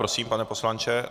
Prosím, pane poslanče.